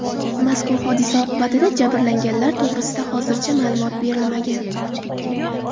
Mazkur hodisa oqibatida jabrlanganlar to‘g‘risida hozircha ma’lumot berilmagan.